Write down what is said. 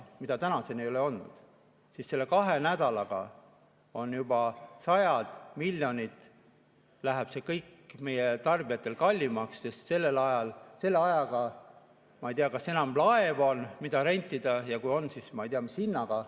Neid ei ole tänaseni tehtud ja selle kahe nädalaga juba sajad miljonid läheb see kõik meie tarbijatele kallimaks, sest ma ei tea, kas nüüd enam on laevu, mida rentida, ja kui on, siis ma ei tea, mis hinnaga.